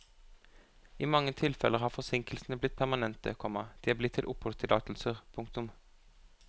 I mange tilfeller har forsinkelsene blitt permanente, komma de er blitt til oppholdstillatelser. punktum